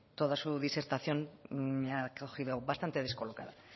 toda su disertación me ha cogido bastante descolocada